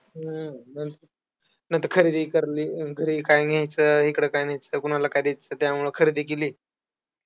हम्म नंत नंतर खरेदी करली. घरी काय न्यायचं, इकडं काय न्यायचं, कोणाला काय द्यायचं त्यामुळं खरेदी केली.